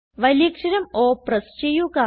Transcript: വലിയക്ഷരം O press ചെയ്യുക